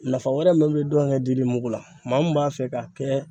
Nafa wɛrɛ mun bɛ dɔnkɛ dili mugu la, maa min b'a fɛ k'a kɛ